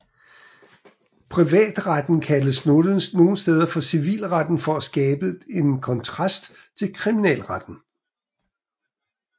Privatretten kaldes nogle steder for civilretten for at skabe en kontrast til kriminalretten